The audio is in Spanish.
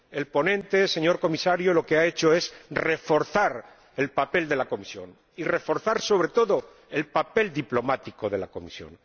El ponente, señor Comisario, lo que ha hecho es reforzar el papel de la Comisión y reforzar, sobre todo, el papel diplomático de la Comisión.